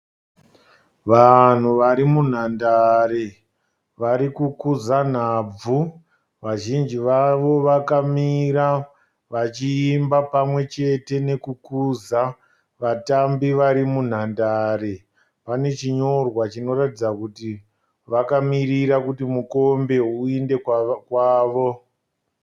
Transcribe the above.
Vanhu vari munhandare varikukuza nhabvu. Vazhinji vavo vakamira vachiimba pamwechete nekukuza vatambi varimunhandare. Pane chinyorwa chinoratidza kuti vakamirira kuti mukombe uende kwavo.